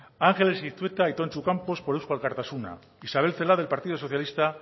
anjeles iztueta y tontxu campos por eusko alkartasuna isabel celaá del partido socialista